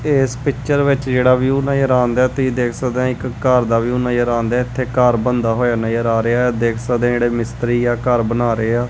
ਤੇ ਇਸ ਪਿੱਚਰ ਵਿਚ ਜਿਹੜਾ ਵਿਊ ਨਜ਼ਰ ਆਂਦੈ ਤੁਹੀ ਦੇਖ ਸਕਦੇ ਹੋ ਇੱਕ ਘਰ ਦਾ ਵਿਊ ਨਜ਼ਰ ਆਂਦੈ ਇੱਥੇ ਘਰ ਬਣਦਾ ਹੋਇਆ ਨਜ਼ਰ ਆ ਰਿਹਾ ਐ ਦੇਖ ਸਕਦੇ ਔ ਜਿਹੜੇ ਮਿਸਤਰੀ ਆ ਘਰ ਬਣਾ ਰਹੇ ਆ।